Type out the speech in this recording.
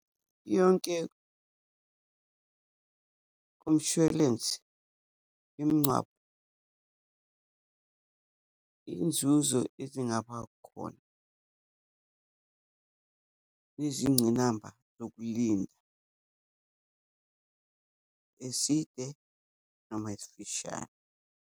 Yonke komshwalensi womngcwabo, inzuzo ezingaba khona nezincinamba zokulinda, eside noma esifishane.